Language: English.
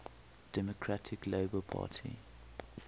democratic labour party